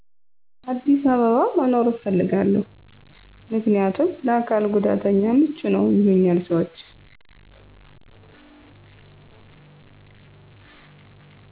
አዲስ አበባ መኖር እፈልጋለው ምክንያም ለአካል ጉዳተኛ ምቹነው ይሉኛል ሰወች